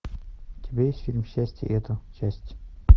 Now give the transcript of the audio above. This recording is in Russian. у тебя есть фильм счастье это счастье